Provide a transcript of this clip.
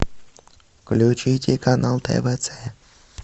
включите канал твц